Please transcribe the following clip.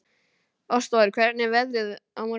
Ástvar, hvernig er veðrið á morgun?